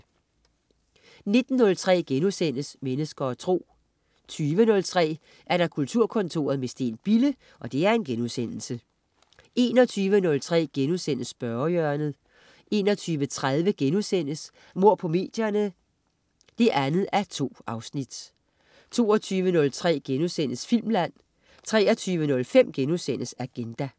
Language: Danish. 19.03 Mennesker og Tro* 20.03 Kulturkontoret med Steen Bille* 21.03 Spørgehjørnet* 21.30 Mord på medierne 2:2* 22.03 Filmland* 23.05 Agenda*